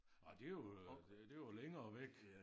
Nåh det jo øh det jo længere væk